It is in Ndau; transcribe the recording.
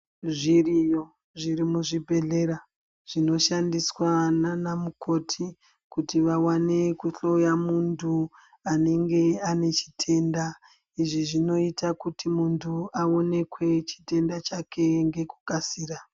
Zviriyo zviri muzvibhedhlera zvinoshandiswa naana mukoti kuti vawane kuhloya muntu anenge ane chitenda. Izvi zvinoita kuti muntu aonekwe chitenda chake ngekukasira.